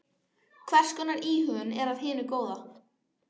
Hvers konar íhugun er af hinu góða.